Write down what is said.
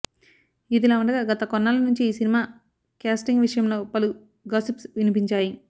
ఇదిలా ఉండగా గత కొన్నాళ్ల నుంచి ఈ సినిమా క్యాస్టింగ్ విషయంలో పలు గాసిప్స్ వినిపించాయి